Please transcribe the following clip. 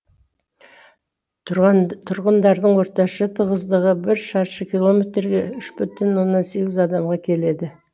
тұрғындарының орташа тығыздығы бір шаршы километрге үш бүтін оннан сегіз адамға келеді